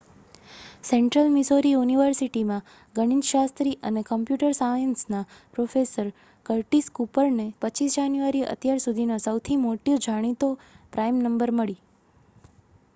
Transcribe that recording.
central Missouri યુનિવર્સિટીમાં ગણિતશાસ્ત્રી અને કોમ્પ્યુટર સાયન્સના પ્રોફેસર કર્ટિસ કૂપરને 25 જાન્યુઆરીએ અત્યાર સુધીની સૌથી મોટી જાણીતી પ્રાઈમ નંબર મળી